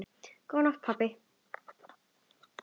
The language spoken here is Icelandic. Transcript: Góða nótt, pabbi.